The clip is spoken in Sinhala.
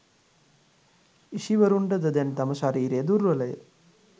ඍෂිවරුන්ටද දැන් තම ශරීරය දුර්වලය